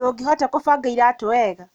Ndũngĩhota gũbanga iratũ wega?